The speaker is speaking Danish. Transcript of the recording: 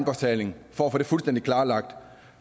er færdig for at få det fuldstændig klarlagt